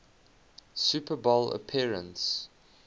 super bowl appearance